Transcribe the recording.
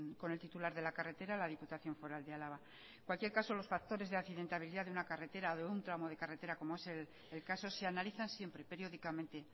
con el titular de la carretera la diputación foral de álava en cualquier caso los factores de accidentalidad de una carretera o de un tramo de carretera como es el caso se analizan siempre periódicamente